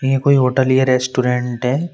ये कोई होटल या रेस्टोरेंट है।